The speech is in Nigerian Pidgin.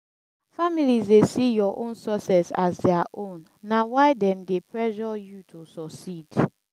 families dey see your own success as their own na why dem dey pressure you to suceed